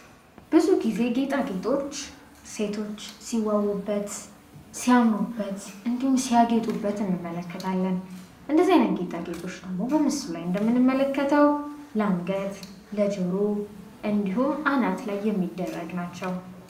ብዙ ጊዜ ጌታዎች ሴቶች ሲዋቡበት ሲያምሩበት እንዲሁም ሲያገጡበት እንመለከታለን ጌታ ጌጦች እንደምንመለከተው ለአንገት ለጆሮ እንዲሁም አናት ላይ የሚደረግ ናቸው